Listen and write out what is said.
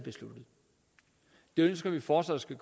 ønsker vi fortsat at